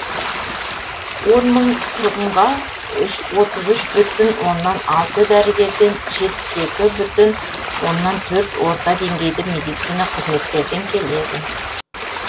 он мың тұрғынға отыз үш бүтін оннан алты дәрігерден жетпіс екі бүтін оннан төрт орта деңгейді медицина қызметкерден келеді